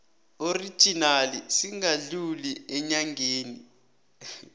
original singadluli eenyangeni